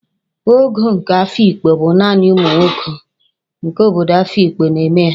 Ogo nke Afikpo bụ naanị ụmụ nwoke nke obodo Afikpo na-eme ya